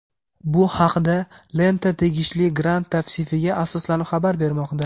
Bu haqda "Lenta" tegishli grant tavsifiga asoslanib xabar bermoqda.